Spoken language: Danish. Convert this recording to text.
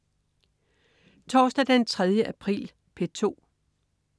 Torsdag den 3. april - P2: